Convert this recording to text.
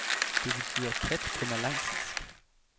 Det betyder kat på malaysisk.